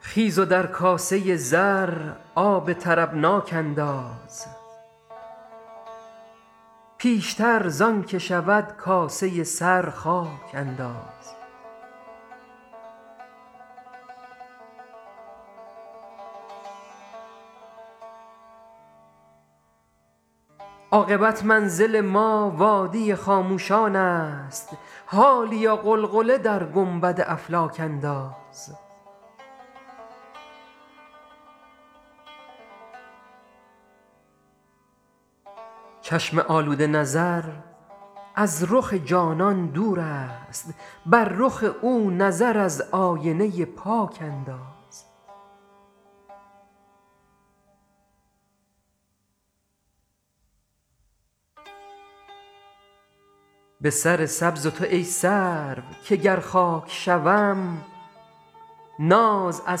خیز و در کاسه زر آب طربناک انداز پیشتر زان که شود کاسه سر خاک انداز عاقبت منزل ما وادی خاموشان است حالیا غلغله در گنبد افلاک انداز چشم آلوده نظر از رخ جانان دور است بر رخ او نظر از آینه پاک انداز به سر سبز تو ای سرو که گر خاک شوم ناز از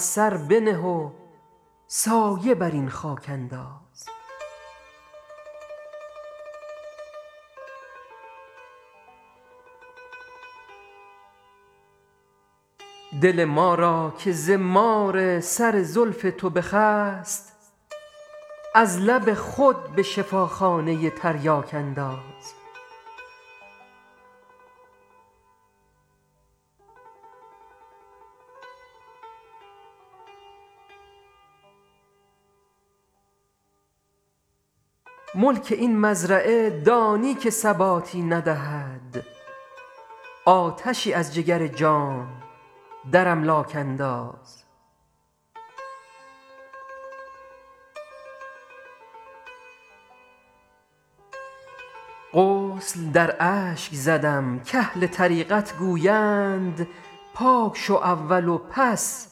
سر بنه و سایه بر این خاک انداز دل ما را که ز مار سر زلف تو بخست از لب خود به شفاخانه تریاک انداز ملک این مزرعه دانی که ثباتی ندهد آتشی از جگر جام در املاک انداز غسل در اشک زدم کاهل طریقت گویند پاک شو اول و پس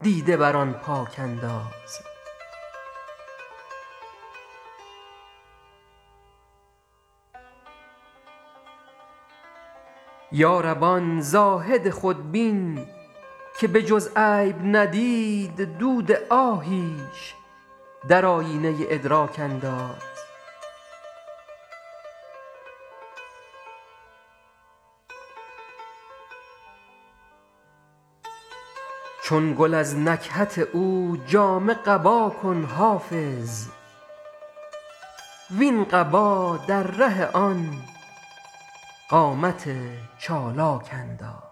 دیده بر آن پاک انداز یا رب آن زاهد خودبین که به جز عیب ندید دود آهیش در آیینه ادراک انداز چون گل از نکهت او جامه قبا کن حافظ وین قبا در ره آن قامت چالاک انداز